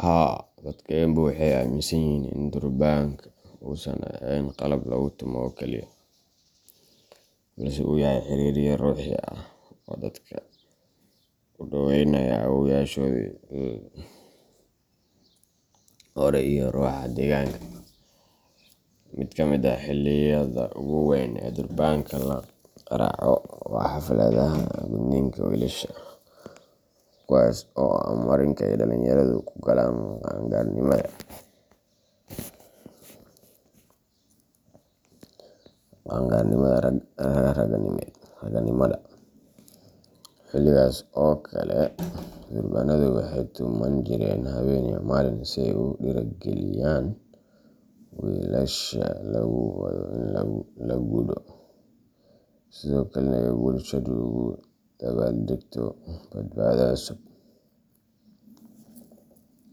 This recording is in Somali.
Haa, Dadka Embu waxay aaminsan yihiin in durbaanka uusan ahayn qalab lagu tumo oo kaliya, balse uu yahay xiriiriye ruuxi ah oo dadka u dhoweynaya awoowayaashoodii hore iyo ruuxa deegaanka. Mid ka mid ah xilliyada ugu weyn ee durbaanka la qaraaco waa xafladaha gudniinka wiilasha, kuwaas oo ah marinka ay dhallinyaradu ku galaan qaan gaarnimada raganimada. Xilligaas oo kale, durbaanadu waxay tuman jireen habeen iyo maalin si ay u dhiirrigeliyaan wiilasha lagu wado in la gudo, sidoo kalena ay bulshadu ugu dabaaldegto badhaadhe cusub.